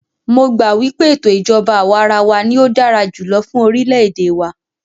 Mó gbà wípé ètò ìjọbá àwàrawa ní o dára jùlọ fún orilẹ ède wa.